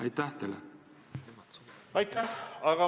Aitäh!